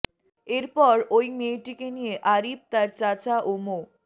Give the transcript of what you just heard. এরপর ওই মেয়েটিকে নিয়ে আরিফ তার চাচা ও মো